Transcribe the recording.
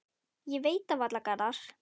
Ég veit það varla, Garðar.